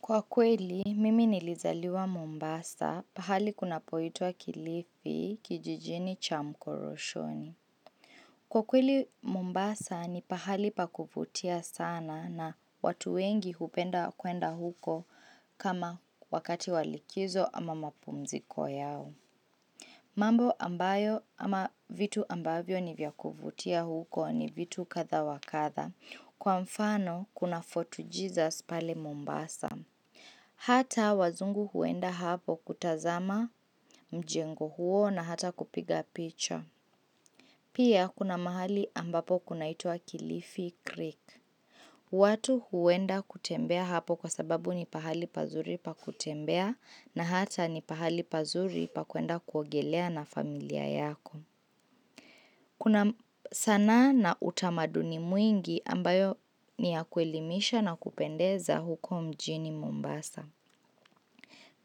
Kwa kweli, mimi nilizaliwa Mombasa pahali kunapoitwa kilifi kijijini cha mkoroshoni. Kwa kweli Mombasa ni pahali pakuvutia sana na watu wengi hupenda kuenda huko kama wakati wa likizo ama mapumziko yao. Mambo ambayo ama vitu ambavyo nivyakuvutia huko ni vitu kadha wa kadha. Kwa mfano, kuna fort Jesus pale Mombasa. Hata wazungu huenda hapo kutazama mjengo huo na hata kupiga picha. Pia kuna mahali ambapo kunaitua Kilifi Creek. Watu huenda kutembea hapo kwa sababu ni pahali pazuri pa kutembea na hata ni pahali pazuri pa kwenda kuogelea na familia yako. Kuna sanaa na utamaduni mwingi ambayo ni ya kuelimisha na kupendeza huko mjini Mombasa.